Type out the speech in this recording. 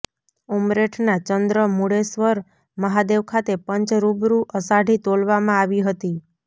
ઉમરેઠના ચંન્દ્રમુળેશ્વર મહાદેવ ખાતે પંચ રૂબરૂ અષાઢી તોલવામાં આવી હતી